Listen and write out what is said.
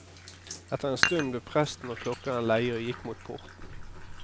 Etter en stund ble presten og klokkeren leie og gikk mot porten.